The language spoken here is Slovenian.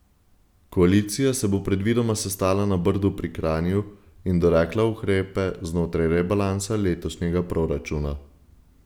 Koalicija se bo predvidoma sestala na Brdu pri Kranju in dorekla ukrepe znotraj rebalansa letošnjega proračuna.